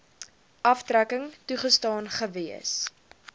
aftrekking toegestaan gewees